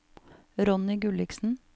Ronny Gulliksen